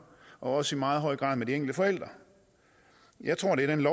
og også i meget høj grad med de enkelte forældre jeg tror det er den